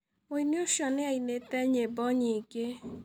Mũini ucio nĩ ainĩte nyĩmbo nyingĩ.